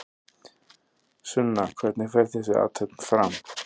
Sunna hvernig fer þessi athöfn fram?